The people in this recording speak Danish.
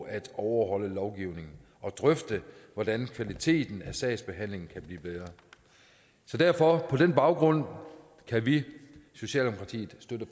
at overholde lovgivningen og drøfte hvordan kvaliteten af sagsbehandlingen kan blive bedre så derfor og på den baggrund kan vi i socialdemokratiet støtte